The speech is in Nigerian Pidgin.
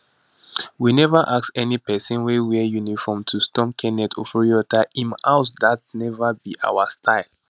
we neva ask any pesin wey wear uniform to storm kenneth oforiatta im house dat neva be our style